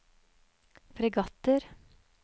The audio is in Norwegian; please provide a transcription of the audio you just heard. fregatter